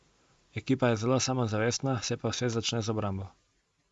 Ekipa je zelo samozavestna, se pa vse začne z obrambo.